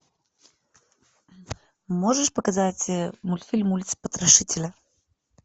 можешь показать мультфильм улица потрошителя